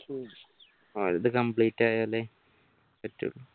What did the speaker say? ഓലത് complete ആയാലേ